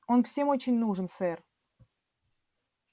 он всем очень нужен сэр